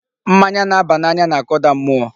Mmanya na-aba n'anya na-akụda mụọ.